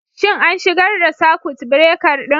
Shin an shigar da sakut birekar ɗin?